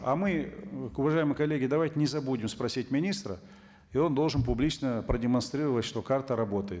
а мы уважаемые коллеги давайте не забудем спросить министра и он должен публично продемонстрировать что карта работает